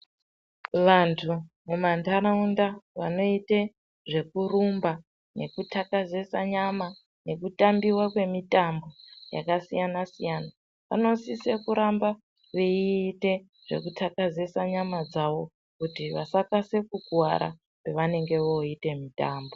Vantu mumantaraunda vanoite zvekurumba nekuthakazesa nyama, nekutambiwa kwemitambo yakasiyana-siyana, vanosise kuramba veite zvekuthakazesa nyama dzavo ,kuti vasakase kukuwara, pavanenge voite mitambo.